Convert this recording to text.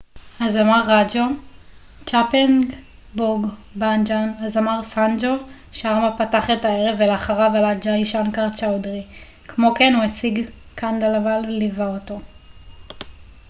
הזמר סאנג'ו שארמה פתח את הערב ולאחריו עלה ג'אי שנקר צ'אודרי כמו כן הוא הציג את chhappan bhog bhajan הזמר ראג'ו קנדלוואל ליווה אותו